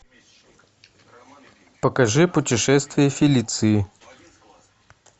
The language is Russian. покажи путешествие филиции